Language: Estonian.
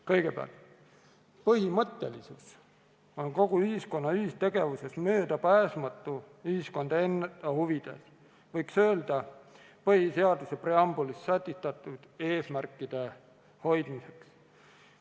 Kõigepealt, põhimõttelisus on kogu ühiskonna ühistegevuses möödapääsmatu ja seda ühiskonna enda huvides – võiks öelda, et põhiseaduse preambulis sätestatud eesmärkide hoidmiseks.